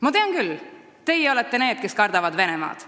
Ma tean küll – teie olete need, kes kardavad Venemaad.